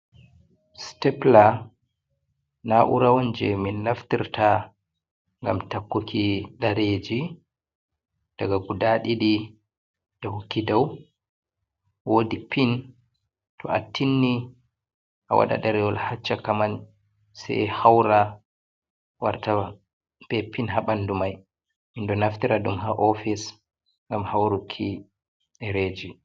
Sitepla naura on je min naftirta ngam takkuki ɗereji. Ɗaga guɗa ɗidi ɗahkuki ɗaw. Woɗi pin to attinni a waɗa ɗarewol ha shakaman sai haura warta be pin ha banɗu mai. Minɗu naftira dun ha ofis ngam hauruki ɗareji.